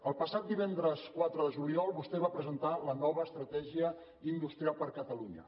el passat divendres quatre de juliol vostè va presentar la nova estratègia industrial per a catalunya